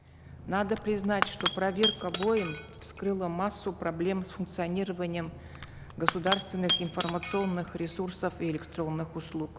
надо признать что проверка боем вскрыла массу проблем с функционированием государственных информационных ресурсов и электронных услуг